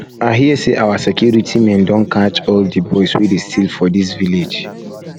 i um hear say our security men don catch all the boys wey dey steal for dis village